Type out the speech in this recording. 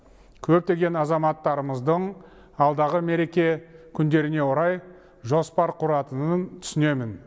көптеген азаматтарымыздың алдағы мереке күндеріне орай жоспар құратынын түсінемін